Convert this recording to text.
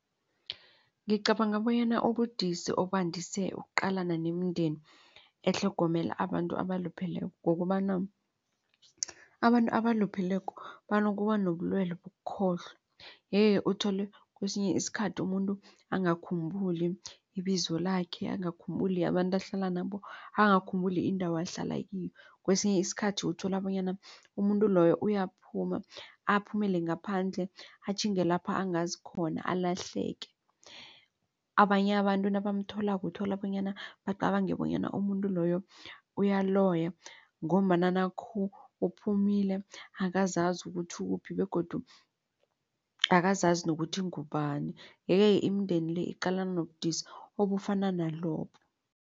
Ngicabanga bonyana ubudisi obandise ukuqalana nemindeni etlhogomela abantu abalupheleko kukobana abantu abalupheleko banokubanobulwelwe bokukhohlwa. Yeke-ke uthole kwesinye isikhathi umuntu angakhambuli ibizo lakhe, angakhumbuli abantu ahlala nabo, angakhumbuli indawo ahlala kiyo. Kwesinye isikhathi uthola bonyana umuntu loyo uyaphuma aphumele ngaphandle atjhinge lapha angazi khona alahleke. Abanye abantu nabamtholako uthola bonyana bacabange bonyana umuntu loyo uyaloya ngombana nakhu uphumile akazazi ukuthi ukuphi begodu akazazi ukuthi ungubani. Yeke-ke imindeni le iqalana nobudisi obufana nalobu.